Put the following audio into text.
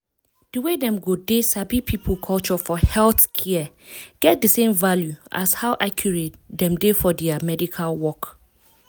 di way dem go dey sabi people culture for healthcare get di same value as how accurate dem dey for dia medical work.